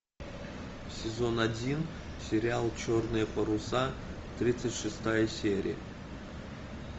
сезон один сериал черные паруса тридцать шестая серия